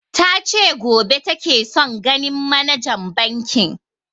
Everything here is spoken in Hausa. Ta ce gobe take son ganin manajan bankin